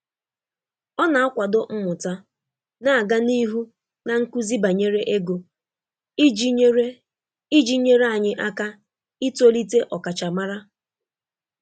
Ọ na-akwado mmụta na-aga n'ihu na nkuzi banyere ego iji nyere iji nyere anyị aka itolite ọkachamara.